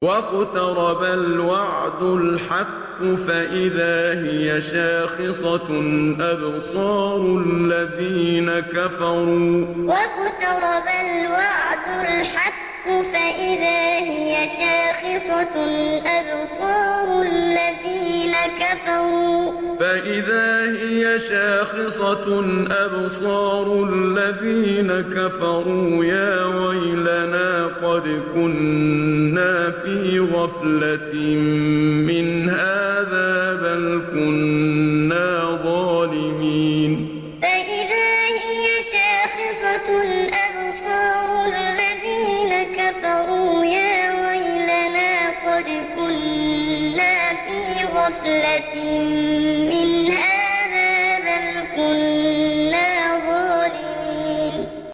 وَاقْتَرَبَ الْوَعْدُ الْحَقُّ فَإِذَا هِيَ شَاخِصَةٌ أَبْصَارُ الَّذِينَ كَفَرُوا يَا وَيْلَنَا قَدْ كُنَّا فِي غَفْلَةٍ مِّنْ هَٰذَا بَلْ كُنَّا ظَالِمِينَ وَاقْتَرَبَ الْوَعْدُ الْحَقُّ فَإِذَا هِيَ شَاخِصَةٌ أَبْصَارُ الَّذِينَ كَفَرُوا يَا وَيْلَنَا قَدْ كُنَّا فِي غَفْلَةٍ مِّنْ هَٰذَا بَلْ كُنَّا ظَالِمِينَ